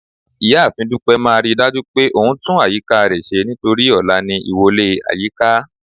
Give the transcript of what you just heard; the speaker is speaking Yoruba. ìyáàfín dupẹ má ridaju pé òun tún àyíká re ṣe nítorí ọlá ní ìwọlè ayika